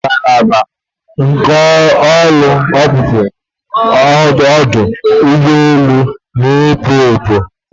Ngalaba nke ọpụpụ ọdụ ụgbọ elu a na-ekwo ekwo taa.